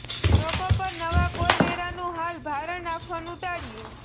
લોકો પર નવા કોઈ વેરાનું હાલ ભારણ નાખવાનું ટાળ્યું